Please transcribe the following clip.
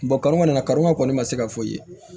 kɔnɔ kɔni karamɔgɔ kɔni ma se ka fɔ i ye